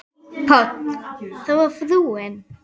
PÁLL: Það var frúin.